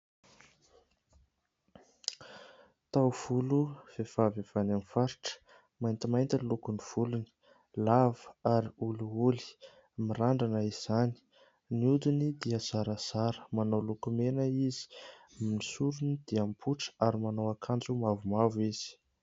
Taovolo vehivavy avy any amin'ny faritra. Maintimainty ny lokon'ny volony, lava ary olioly mirandrana izany, ny hodiny dia zarazara, manao lokomena izy, ny sorony dia mipoitra ary manao akanjo mavomavo izy.